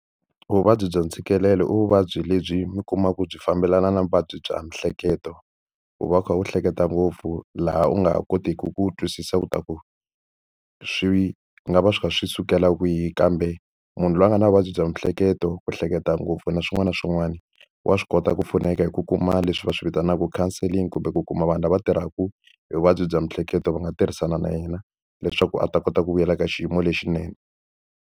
Vuvabyi bya ntshikelelo i vuvabyi lebyi mi kumaka byi fambelana na vuvabyi bya miehleketo. Ku va u kha u hleketa ngopfu laha u nga ha kotiki ku twisisa leswaku swi nga va swi kha swi sukela kwihi. Kambe munhu loyi a nga na vuvabyi bya miehleketo, ku hleketa ngopfu na swin'wana na swin'wana, wa swi kota ku pfuneka hi ku kuma leswi va swi vitanaka counselling kumbe ku kuma vanhu lava tirhaka hi vuvabyi bya miehleketo va nga tirhisana na yena, leswaku a ta kota ku vuyela ka xiyimo lexinene.